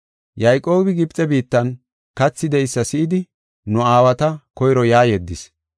Yayqoobi Gibxe biittan kathi de7eysa si7idi nu aawata koyro yaa yeddis.